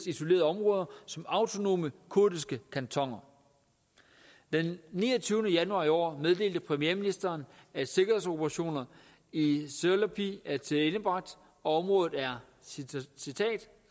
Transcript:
isolerede områder som autonome kurdiske kantoner den niogtyvende januar i år meddelte premierministeren at sikkerhedsoperationerne i silopi er tilendebragt og at området er citat